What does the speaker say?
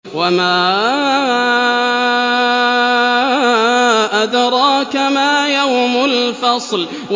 وَمَا أَدْرَاكَ مَا يَوْمُ الْفَصْلِ